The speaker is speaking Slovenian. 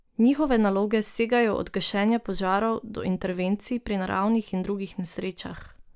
Njihove naloge segajo od gašenja požarov do intervencij pri naravnih in drugih nesrečah.